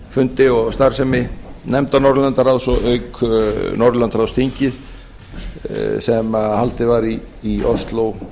fundi og starfsemi nefnda norðurlandaráðs og að auki norðurlandaráðsþingið sem haldið var í ósló